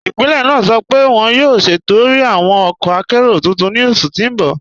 Ipílẹ̀ naa sọ́ pẹ̀ wọn yóò ṣẹtọ̀rẹ̀ awọn ọkọ̀ àkéró tuntun ni oṣù tí n bọ̀.